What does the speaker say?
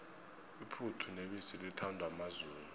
iphuthu nebisi lithandwa mazulu